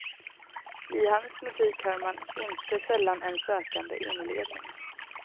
I hans musik hör man inte sällan en sökande inledning.